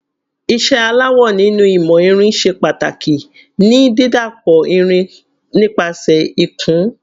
Iṣẹ́ aláwọ̀ nínú ìmọ̀ irin ṣe pàtàkì ní dídàpọ̀ irìn nípasẹ̀ ìkùn.